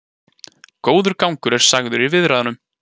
Góður gangur er sagður í viðræðunum